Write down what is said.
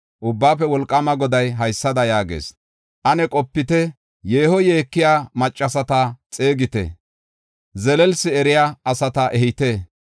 Ubbaafe Wolqaama Goday haysada yaagees: “Ane qopite. Yeeho yeekiya maccasata xeegite; zelelsi eriya asata ehite.